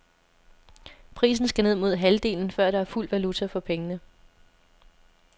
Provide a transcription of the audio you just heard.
Prisen skal ned mod halvdelen, før der er fuld valuta for pengene.